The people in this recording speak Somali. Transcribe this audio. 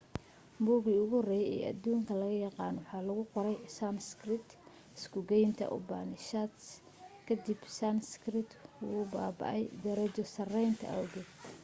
buuggii ugu horreeyay ee dunida laga yaqaan waxaa lagu qoray sanskrit isku-gaynta upanishads-ka kadib sanskrit wuu baaba'ay darajo-saraysiinta awgeed